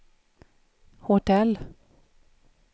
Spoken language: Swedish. hotell